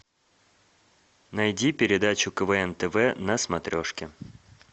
найди передачу квн тв на смотрешке